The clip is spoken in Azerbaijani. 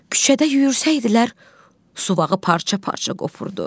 Küçədə yuyursaydılar, suvağı parça-parça qopurdu.